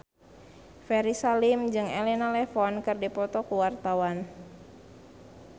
Ferry Salim jeung Elena Levon keur dipoto ku wartawan